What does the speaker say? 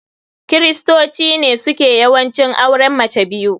kiristoci ne suke yawanci auren mace biyu.